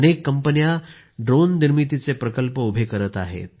अनेक कंपन्या ड्रोन निर्मितीचे प्रकल्पही उभे करीत आहेत